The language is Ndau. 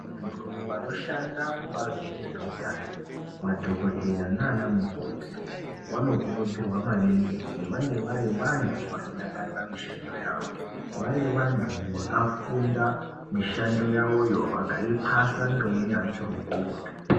Vantu vanoshanda kubazi rezveutano madhogodheya nana mukoti vanokurudzirwa maningi kuti vange vari vantu vanodakarira mishando yavo. Vari vantu vakafunda mishando yavoyo vakaipa vakaipasa ngeunyanzvi hukurutu.